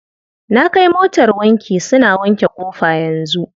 Na kai motar wanki, suna wanke ƙofa yanzu.